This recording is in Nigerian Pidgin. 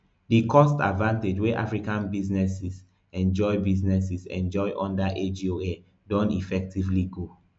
di cost advantage wey african businesses enjoy businesses enjoy under agoa don effectively go